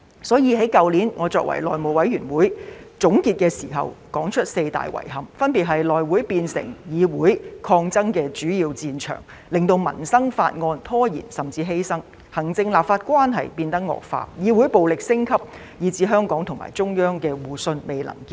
所以，在去年我作為內會主席，在總結時我提出了四大遺憾，分別是內會變成議會抗爭的主要戰場，令到民生法案被拖延甚至被犧牲；行政立法關係變得惡化；議會暴力升級；以及香港和中央的互信未能建立。